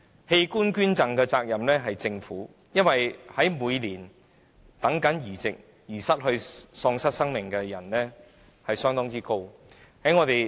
器官捐贈的責任應由政府承擔，因為每年在等候器官移植期間失去生命的人相當多。